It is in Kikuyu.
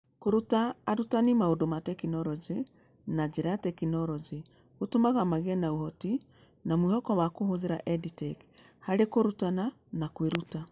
Kũruta arutani maũndũ ma tekinoronjĩ na njĩra ya tekinoronjĩ gũtũmaga magĩe na ũhoti na mwĩhoko wa kũhũthĩra EdTech harĩ kũrutana na kwĩruta.